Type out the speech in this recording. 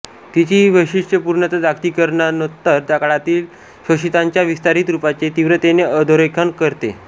तिची ही वैशिष्टयपूर्णत जागतिकीकरणोत्तर काळातील शोषितांच्या विस्तारित रूपाचे तीव्रतेने अधोरेखन करते